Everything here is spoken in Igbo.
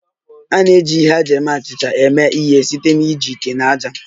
A na-eji ihe eji eme achịcha eme ihe site na iji ite na ájá